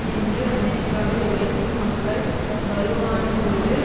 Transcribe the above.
நின்று அமெரிக்காவில் உழைக்கும் மக்கள் வலுவானதொரு